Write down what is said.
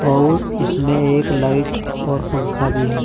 अउर इसमें एक लाइट और पंखा भी है।